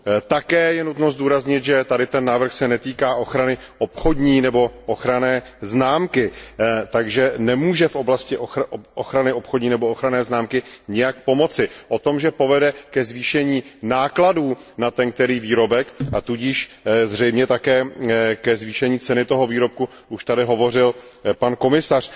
Také je nutno zdůraznit, že tento návrh se netýká ochrany obchodní nebo ochranné známky, takže nemůže v oblasti ochrany obchodní nebo ochranné známky nijak pomoci. O tom, že povede ke zvýšení nákladů na určitý výrobek, a tudíž zřejmě také ke zvýšení ceny tohoto výrobku, už tady hovořil pan komisař.